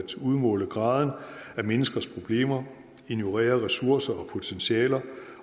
udmåle graden af menneskers problemer ignorere ressourcer og potentialer